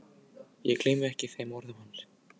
Ég gleymi ekki þeim orðum hans.